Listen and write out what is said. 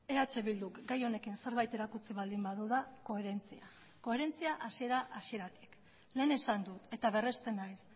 eh bilduk gai honekin zerbait erakutsi baldin badu da koherentzia koherentzia hasiera hasieratik lehen esan dut eta berresten naiz